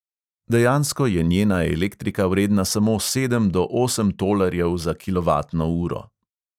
Dejansko je njena elektrika vredna samo sedem do osem tolarjev za kilovatno uro.